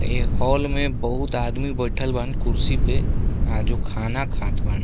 ए hall में बहुत आदमी बइठल बान कुर्सी पे आ जो खाना खात बान।